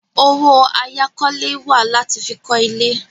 Owó àyákọ́lé wà láti fi kọ́ ilé.